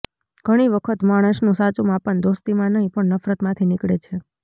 ઘણી વખત માણસનું સાચું માપ દોસ્તીમાં નહીં પણ નફરતમાંથી નીકળે છે